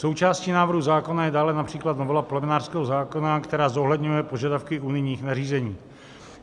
Součástí návrhu zákona je dále například novela plemenářského zákona, která zohledňuje požadavky unijních nařízení.